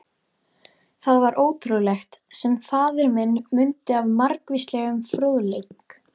Það var ótrúlegt, sem faðir minn mundi af margvíslegum fróðleik.